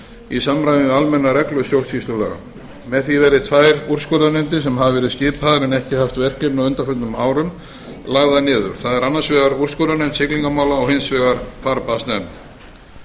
í samræmi við almenna reglu stjórnsýslulaga með því verða tvær úrskurðarnefndir sem hafa verið skipaðar en ekki haft verkefni á undanförnum árum lagðar niður það er annars vegar úrskurðarnefnd siglingamála og hins vegar farbannsnefnd